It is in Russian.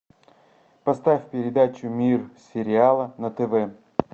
поставь передачу мир сериала на тв